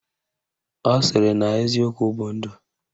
Ọ sịrị na eziokwu bụ ndụ